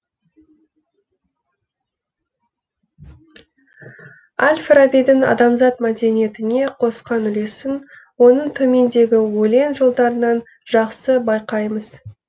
әл фарабидің адамзат мәдениетіне қосқан үлесін оның төмендегі өлең жолдарынан жақсы байқаймыз